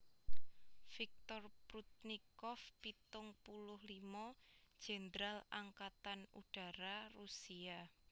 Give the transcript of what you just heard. Viktor Prudnikov pitung puluh limo Jèndral Angkatan Udara Rusia